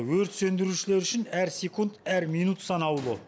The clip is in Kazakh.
өрт сөндірушілер үшін әр секунд әр минут санаулы